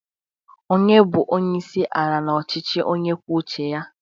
onye bu onye isi ala n'ọchịchị onye kwuo uche ya?